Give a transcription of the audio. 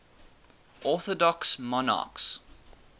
orthodox monarchs